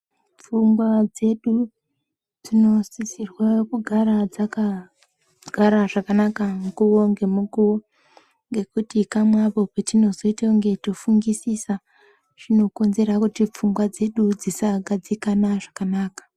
Pfungwa dzedu dzinosisirwa kugara dzakagara zvakanaka mukuwo ngemukowo ngekuti kamwe apo petinozoita kunge tinofungisisa zvinokonzera kuti pfungwa dzedu dzisagadzikana zvakanaka.